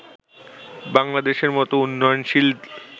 বাংলাদেশের মত উন্নয়নশীল